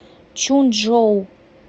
чунчжоу